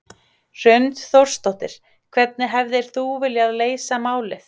Hrund Þórsdóttir: Hvernig hefðir þú viljað leysa málið?